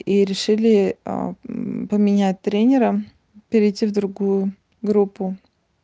и решили а поменять тренера перейти в другую группу